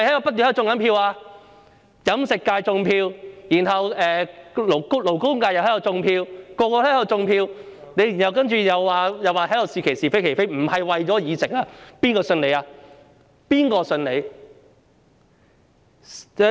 包括在飲食界和勞工界，所有人都在"種票"，然後他卻在這裏說"是其是，非其非"，並不是為了議席，誰會相信他？